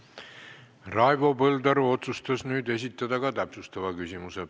Raivo Põldaru otsustas nüüd esitada ka täpsustava küsimuse.